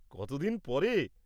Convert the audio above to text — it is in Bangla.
কত দিন পর।